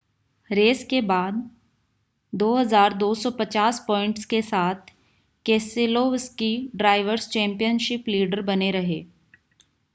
race के बाद 2,250 points के साथ केसेलोवस्की ड्रायवर्स चैंपियनशिप लीडर बने रहे